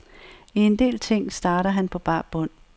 I en del ting starter han på bar bund.